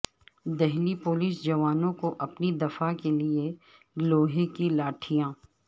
Delhi police جوانوں کو اپنی دفاع کے لئے لوہے کی لاٹھیاں